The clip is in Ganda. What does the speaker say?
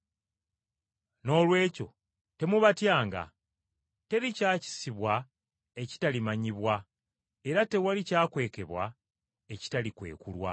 “Noolwekyo temubatyanga. Teri kyakisibwa ekitalimanyibwa, era tewali kyakwekebwa ekitalizuulibwa.